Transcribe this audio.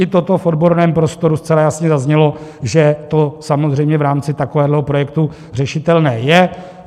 I toto v odborném prostoru zcela jasně zaznělo, že to samozřejmě v rámci takového projektu řešitelné je.